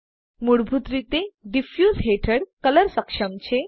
મૂળભૂત રીતે ડિફ્યુઝ હેઠળ કલર સક્ષમ છે